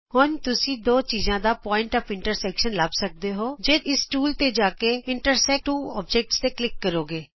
ਹੁਣ ਤੁਸੀਂ ਦੋ ਚੀਜਾਂ ਦਾ ਕੱਟਵਾਂ ਬਿੰਦੂ ਲੱਭ ਸਕਦੇ ਹੋ ਜੇ ਤੁਸੀਂ ਇਸ ਟੂਲ ਤੇ ਜਾ ਕੇ ਇੰਟਰਸੈਕਟ ਟੂ ਅੋਬਜੈਕਟਜ਼ ਤੇ ਕਲਿਕ ਕਰੋਗੇ